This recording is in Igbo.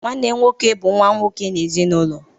Nwanne nwoke bụ nwa nwoke n’ezinụlọ.